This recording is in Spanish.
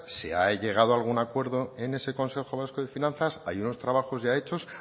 se ha llegado a algún acuerdo en ese consejo vasco de finanzas hay unos trabajos ya hechos